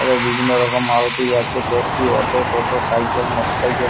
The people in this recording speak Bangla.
এদের বিভিন্ন রকম মারুতি যাচ্ছে। ট্যাক্সি অটো টোটো সাইকেল মোটরসাইকেল ।